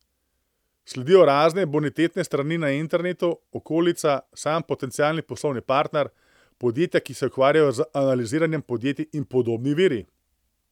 Sledijo razne bonitetne strani na internetu, okolica, sam potencialni poslovni partner, podjetja, ki se ukvarjajo z analiziranjem podjetij, in podobni viri.